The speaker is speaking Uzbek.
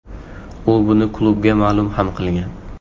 U buni klubga ma’lum ham qilgan.